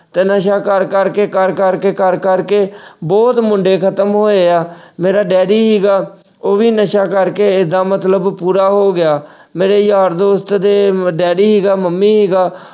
ਤੇ ਨਸ਼ਾ ਕਰ-ਕਰ ਕੇ, ਕਰ-ਕਰ ਕੇ, ਕਰ-ਕਰ ਕੇ ਅਹ ਬਹੁਤ ਮੁੰਡੇ ਖ਼ਤਮ ਹੋਏ ਆ, ਮੇਰਾ ਡੈਡੀ ਸੀਗਾ ਉਹ ਵੀ ਨਸ਼ਾ ਕਰਕੇ ਐਦਾ ਮਤਲਬ ਪੂਰਾ ਹੋ ਗਿਆ। ਮੇਰੇ ਯਾਰ ਦੋਸਤ ਦੇ daddy ਸੀਗਾ mummy ਸੀਗਾ